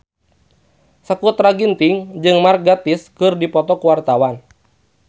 Sakutra Ginting jeung Mark Gatiss keur dipoto ku wartawan